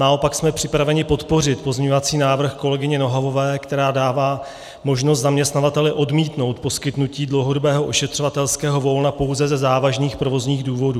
Naopak jsme připraveni podpořit pozměňovací návrh kolegyně Nohavové, která dává možnost zaměstnavateli odmítnout poskytnutí dlouhodobého ošetřovatelského volna pouze ze závažných provozních důvodů.